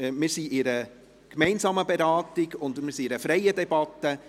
Wir befinden uns in einer gemeinsamen Beratung und einer freien Debatte.